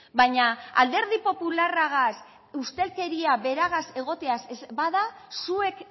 baina alderdi popularragaz ustelkeria beragaz egotea bada zuek